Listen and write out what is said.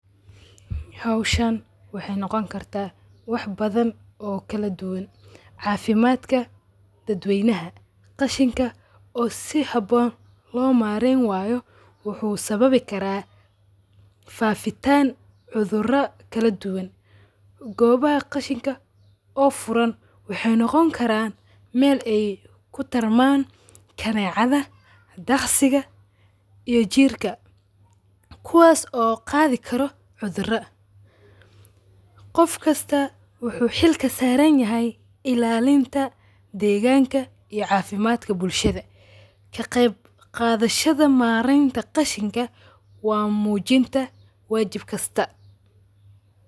Hawshaan waxay noogoni kartaa waxa badhan oo kaladuwaan cafimatka daadweynaha. Qashinka oo sihaboon loo maarin wayo wuxu sababi karaa faafitaan cudhuro kaladuwaan goobaha qashinka oo furaan waxay noogon karaan meel aay kutaraman; kanecadha, taqsiga iyo jiirka kuwaas oo qaadhi kaaro cudhara. Qofkasta wuxu xiil kasarinyahay ilaaliinta deganka iyo cafimatka bullshadha. Kaqebgadahasha mareenta Qashinka waa mujinta wajib kasta